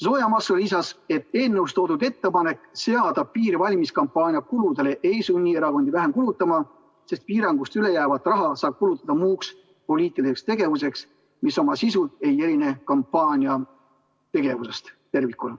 Zoja Masso lisas, et eelnõus toodud ettepanek seada piir valimiskampaania kuludele ei sunni erakondi vähem kulutama, sest piirangust üle jäävat raha saab kulutada muuks poliitiliseks tegevuseks, mis oma sisult ei erine kampaaniategevusest.